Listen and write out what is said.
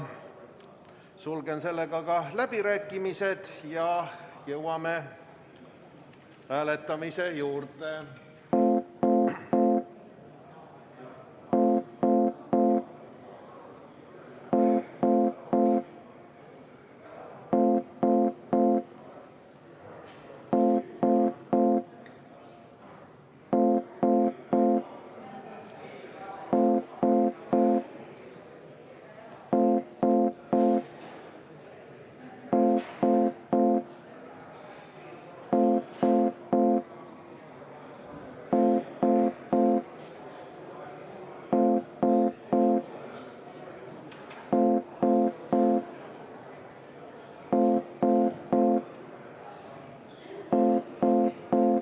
Sulgen sellega ka läbirääkimised ja jõuame hääletamise juurde.